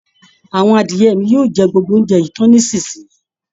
Àwọn adiẹ mi yóò jẹ gbogbo óuńjẹ yìí tán nísisìnyìí